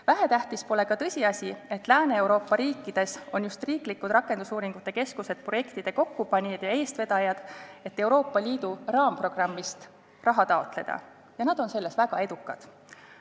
Vähetähtis pole ka tõsiasi, et Lääne-Euroopa riikides on just riiklikud rakendusuuringute keskused projektide kokkupanijad ja eestvedajad, et Euroopa Liidu raamprogrammist raha taotleda, ja nad on selles väga edukad.